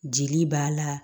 Jeli b'a la